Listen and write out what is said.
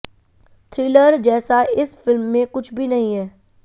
thriller जैसा इस film में कुछ भी नहीं है